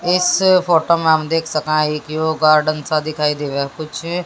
इस फोटो में हम देख सका हैं की यो गार्डन सा दिखाई देवे कुछ--